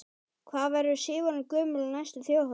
Hvað verður Sif orðin gömul á næstu Þjóðhátíð?